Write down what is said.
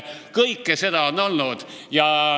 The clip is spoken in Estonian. Kõike seda on olnud.